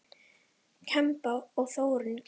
Kempa og Þróun kljást.